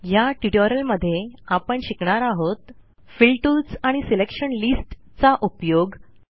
ह्या ट्युटोरियलमध्ये आपण शिकणार आहोत फिल टूल्स आणि सिलेक्शन लिस्ट चा उपयोग